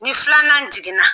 Ni filanan jiginna.